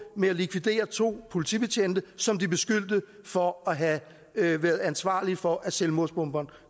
med at likvidere to politibetjente som de beskyldte for at have været ansvarlig for at selvmordsbomberen